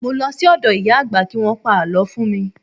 Mo lọ sí ọ̀dọ̀ ìyá àgbà kí Wọ́n pa àlọ́ fún mi.